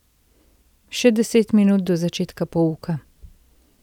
Še deset minut do začetka pouka.